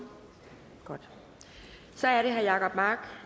godt så er det herre jacob mark